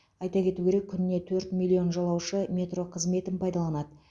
айта кету керек күніне төрт миллион жолаушы метро қызметін пайдаланады